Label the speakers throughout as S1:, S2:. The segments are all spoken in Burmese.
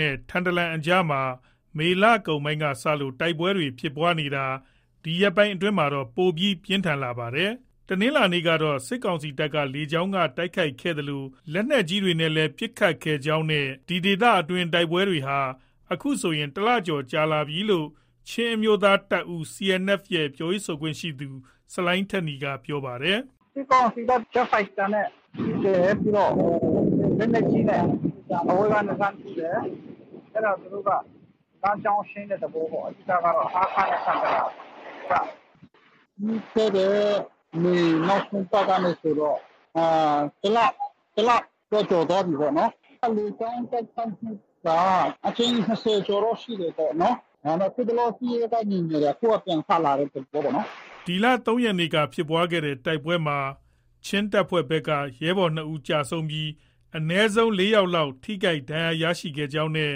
S1: နဲ့ ထန်တလန်အကြားမှာ မေလကုန်ပိုင်းက စလို့ တိုက်ပွဲတွေ ဖြစ်နေတာမှာ ဒီရက်ပိုင်း အတွင်းမှာတော့ ပိုပြီး ပြင်းထန်လာနေတာ ဖြစ်ပါတယ်။ တနင်္လာနေ့ကတော့ စစ်ကောင်စီတပ်က လေကြောင်းက တိုက်ခိုက်ခဲ့သလို လက်နက်ကြီးနဲ့လည်း ပစ်ခတ်ခဲ့ကြောင်းနဲ့ ဒီဒေသတွင်း တိုက်ပွဲတွေဟာ ခုဆိုရင် တလကျော်ကြာလာပြီလို့ ချင်းအမျိုးသားတပ်ဦးရဲ့ ပြောရေးဆိုခွင့်ရှိသူ ဆလိုင်းထက်နီက ပြောပါတယ်။ “ စစ်ကောင်စီက ဂျက်ဖိုက်တာ
S2: နဲ့ ပစ်တယ်။ လက်နက်ကြီးနဲ့ အဝေးကနေ လှမ်းထုတယ်။ အဲဒါ သူတို့က လမ်းကြောင်းရှင်းတဲ့သဘောပေါ့။ အဓိက ဟားခါးနဲ့ ထန်တလန်ကြား။ ပြီးခဲ့တဲ့ မေ နောက်ဆုံးပတ်ကနေ ဆိုတော့ တလတော့ ကျော်သွားပြီပေါ့နော်။ လေကြောင်း တိုက်ခိုက်မှုက အကြိမ် ၂၀ ကျော် တော့ ရှိတယ်ပေါ့နော်။ ဒါပေမဲ့ စစ်ရေး ငြိမ်နေတာက အခု ပြန်စလာတဲ့သဘောပေါ့နော်။
S1: ” ဒီလ ၃ ရက်နေ့က ဖြစ်ပွားတဲ့ တိုက်ပွဲမှာ ချင်းတပ်ဖွဲ့တွေဘက်က ရဲဘော် ၂ ဦး ကျဆုံးပြီး အနည်းဆုံး ၄ ယောက်လောက် ထိခိုက် ဒဏ်ရာရခဲ့ကြောင်းနဲ့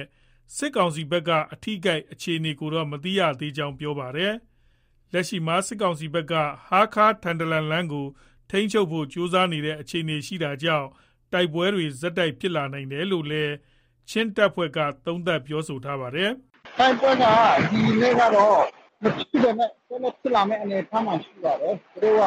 S1: စစ်ကောင်စီဘက်က အထိအခိုက် အခြေအနေကိုတော့ မသိရကြောင်း ပြောပါတယ်။ လက်ရှိမှာ စစ်ကောင်စီဘက်က ဟားခါး- ထန်တလန်လမ်းကို ထိန်းချုပ်ဖို့ ကြိုးစားနေတဲ့ အခြေအနေရှိတာကြောင့် တိုက်ပွဲတွေ ဆက် ဖြစ်လာနိုင်တယ်လို့လည်း ချင်းတပ်ဖွဲ့တွေက သုံးသပ်ပြောဆိုပါတယ်။
S2: “တိုက်ပွဲကတော့ ဒီနေ့ မဖြစ်ပေမဲ့ ဆက်လက်ဖြစ်လာမယ့် အနေအထားမှာ ရှိပါတယ်။ သူတို့က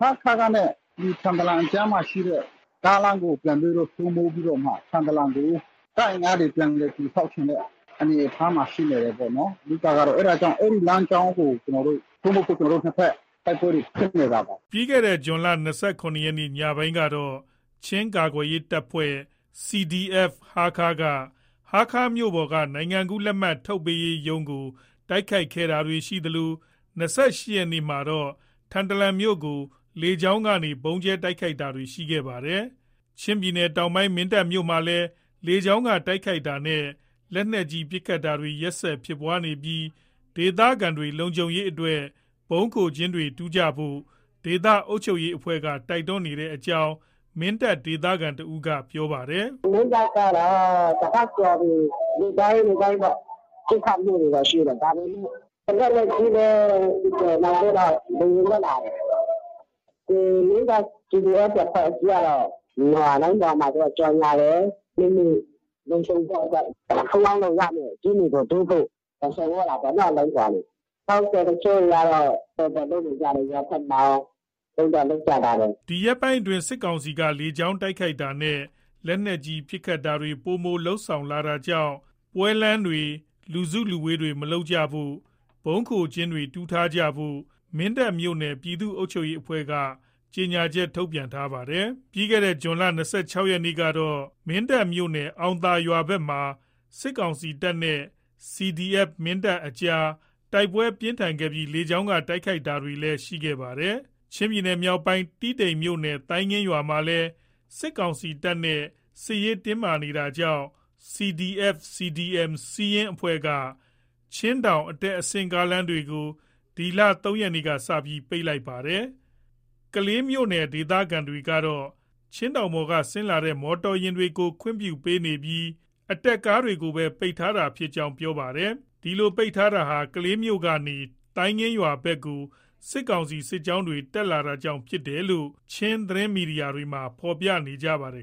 S2: ဟားခါးနဲ့ ဒီထန်တလန်အကြားမှာရှိတဲ့ ကားလမ်းကို ပြန်ပြီးတော့ စိုးမိုးပြီးတော့မှ ထန်တလန်ကို တပ်အင်အားတွေ ပြန်လည်တည်ဆောက်ချင်တဲ့ အနေအထားမှာ ရှိနေတယ်ပေါ့နော်။ အဓိက ကတော့ အဲဒီလမ်းကြောင်းကို ကျနော်တို့ စိုးမိုးဖို့ ကျနော်တို့ နှစ်ဘက် တိုက်ပွဲတွေဖြစ်နေတာပါ။
S1: ” ဇွန်လ ၂၇ ရက်နေ့ ညပိုင်းကတော့ ချင်းကာကွယ်ရေးတပ်ဖွဲ့ CDF-Hakha က ဟားခါးမြို့ပေါ်က နိုင်ငံကူးလက်မှတ် ထုတ်ပေးရေးရုံးကို တိုက်ခိုက်တာတွေ ရှိခဲ့သလို ၂၈ ရက်နေ့မှာတော့ ထန်တလန်မြို့ကို တိုက်လေယာဉ်နဲ့ ဗုံးကြဲတိုက်ခိုက်တာတွေ ရှိခဲ့ပါတယ်။ ချင်းပြည်နယ်တောင်ပိုင်း မင်းတပ်မြို့မှာလည်း လေကြောင်းက တိုက်ခိုက်တာနဲ့ လက်နက်ကြီး ပစ်ခတ်တာတွေ ရက်ဆက် ဖြစ်ပွားနေပြီး ဒေသခံတွေ လုံခြုံရေးအတွက် ဗုံးခိုကျင်းတွေ တူးဖို့ ဒေသအုပ်ချုပ်ရေး အဖွဲ့က တိုက်တွန်းနေတဲ့အကြောင်း မင်းတပ်ဒေသခံတဦးက ပြောပါတယ်။
S2: “မင်းတပ်ကတော့ တပတ်ကျော်ပြီ။ နေ့တိုင်း၊ နေ့တိုင်းပေါ့။ ပစ်ခတ်မှုတွေကတော့ ရှိတယ်။ ဒါပေမဲ့ လက်နက်ကြီးလည်း ပစ်တယ်။ နောက်ပြီးတော့ လေယာဉ်လည်း လာတယ်။ မင်းတပ်CDF အဖွဲ့အစည်းကတော့ လိုင်းပေါ်မှာ သူတို့က ကျေညာတယ်။ မိမိ လုံခြုံဖို့အတွက် ပုန်းအောင်းလို့ရမယ့် ကျင်းတွေကို တူးဖို့ ဆော်သြတာပေါ့နော်။ လိုင်းပေါ်ကနေ။ တချို့တွေကတော့ တော်တော်လုပ်နေကြတယ်။ ရွာဘက်မှာတွေရော လုပ်တော့ လုပ်ကြပါတယ်။
S1: ” ဒီရက်ပိုင်းအတွင်း စစ်ကောင်စီက လေကြောင်းတိုက်ခိုက်တာနဲ့ လက်နက်ကြီးပစ်ခတ်တာတွေ ပိုမိုလုပ်ဆောင်လာတာကြောင့် ပွဲလမ်းတွေ၊ လူစုလူဝေးတွေ မလုပ်ဖို့၊ ဗုံးခိုကျင်းတွေ တူးဖို့ မင်းတပ် မြို့နယ် ပြည်သူ့အုပ်ချုပ်ရေးအဖွဲ့က စာထုတ်ပြန်ထားပါတယ်။ ဇွန်လ ၂၆ ရက်နေ့ကတော့ မင်းတပ်မြို့နယ် အောင်သာရွာဘက်မှာ စစ်ကောင်စီတပ်နဲ့ CDF မင်းတပ်အကြား တိုက်ပွဲ ပြင်းထန်ခဲ့ပြီး လေကြောင်းက တိုက်ခိုက်တာတွေ ရှိခဲ့ပါတယ်။ ချင်းပြည်နယ်မြောက်ပိုင်း တီးတိန်မြို့နယ် သိုင်းငင်းရွာမှာလည်း စစ်ကောင်စီတပ်နဲ့ စစ်ရေးတင်းမာနေတာကြောင့် CDF CDM SIYIN အဖွဲ့က ချင်းတောင် အတက်အဆင်းကားတွေကို ဒီလ ၃ရက်နေ့ကစပြီး ပိတ်လိုက်ပါတယ်။ ကလေးမြို့ ဒေသခံတွေကတော့ ချင်းတောင်ပေါ်က ဆင်းလာတဲ့ မော်တော်ယာဉ်တွေကို ခွင့်ပြုပေးနေပြီး အတက်ကားတွေကိုသာ ပိတ်ထားတာဖြစ်ကြောင်း ပြောပါတယ်။ ဒီလို ပိတ်ထားတာဟာ ကလေးမြို့ကနေ သိုင်းငင်းရွာဘက်ကို စစ်ကောင်စီ စစ်ကြောင်းတွေ တက်လာတာကြောင့် ဖြစ်တယ်လို့ ချင်းသတင်းမီဒီယာတွေမှာ ဖော်ပြထားပါတယ်